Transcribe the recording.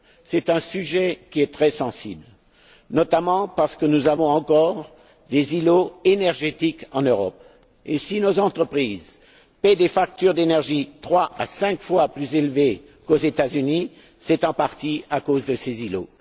C'est un sujet qui est très sensible, notamment parce que nous avons encore des îlots énergétiques en Europe, et si nos entreprises paient des factures d'énergie trois à cinq fois plus élevées qu'aux États Unis, c'est en partie à cause de ces îlots.